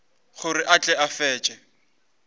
gore a tle a fetše